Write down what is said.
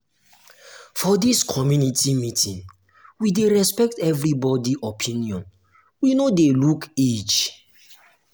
for dis community meeting we dey respect everybodi opinion we no dey look age.